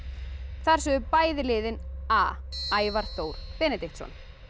þar sögðu bæði liðin a Ævar Þór Benediktsson